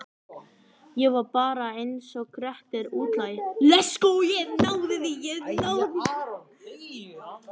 Ég var bara einsog Grettir útlagi.